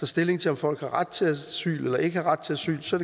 stilling til om folk har ret til asyl eller ikke har ret til asyl så